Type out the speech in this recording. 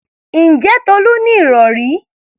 Ǹjẹ́ Tolú ní ìrọ̀rí?